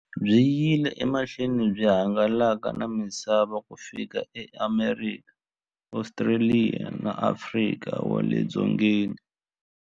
Byi yile emahlweni byi hangalaka na misava ku fika e Amerika, Ostraliya na Afrika wale dzongeni.